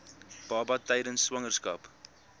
baba tydens swangerskap